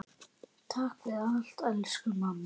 Takk fyrir allt elsku mamma.